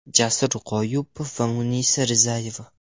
Jasur G‘oyipov va Munisa Rizayeva.